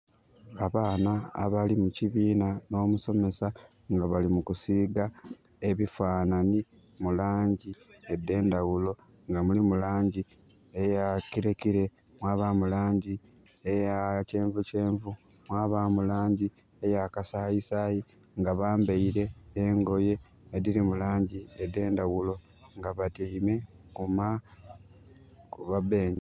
Abaana abali mukibiina no musomesa nga balikusiiga ebifanani mulangi edhendhaghulo nga mulimu langi aya kirekire mwabamu langi eya kyenvukyenvu mwabamu langi eya kasayisayi nga bambaire engoye edhiri mulangi edhendhaghulo nga batyaime ku ma benkyi.